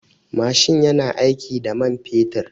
Mashin yana aiki da man fetur.